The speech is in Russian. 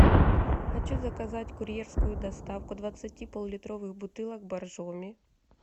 хочу заказать курьерскую доставку двадцати полулитровых бутылок боржоми